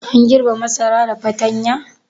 An girbe masara da fatanya?